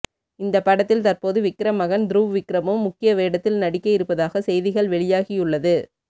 இந்த படத்தில் தற்போது விக்ரம் மகன் துருவ் விக்ரமும் முக்கிய வேடத்தில் நடிக்க இருப்பதாக செய்திகள் வெளியாகியுள்ளது